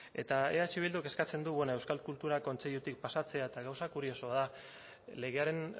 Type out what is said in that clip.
eta eh bilduk eskatzen du bueno euskal kultura kontseilutik pasatzea eta gauza kuriosoa da legearen